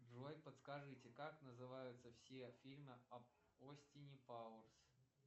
джой подскажите как называются все фильмы об остине пауэрс